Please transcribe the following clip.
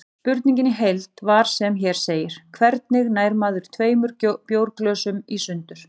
Spurningin í heild var sem hér segir: Hvernig nær maður tveimur bjórglösum í sundur?